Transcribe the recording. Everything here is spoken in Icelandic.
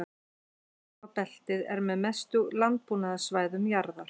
Laufskógabeltið er með bestu landbúnaðarsvæðum jarðar.